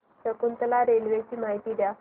Shakuntala railway ची माहिती द्या